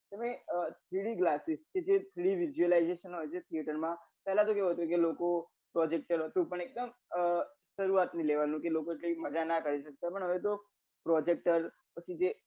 તમે three d glasses કે જે three d visualization હોય જે theater માં પેલા કેવું હોતું કે લોકો projector પણ ક્યાંક સરુઆત થી લેવાની હતી લોકો કઈક મજા ના કરી સકતા પણ હવે તો projector પછી જે